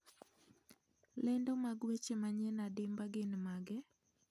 Lendo mag weche manyien adimba gin mage